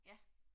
Ja